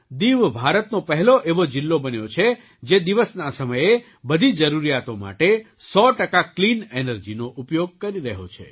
દીવ ભારતનો પહેલો એવો જિલ્લો બન્યો છે જે દિવસના સમયે બધી જરૂરિયાતો માટે સો ટકા ક્લીન એનર્જીનો ઉપયોગ કરી રહ્યો છે